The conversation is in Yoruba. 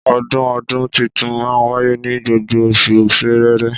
Ọdún ọdún títùn mà wàyé ní gbogbo òsú sẹrẹrẹ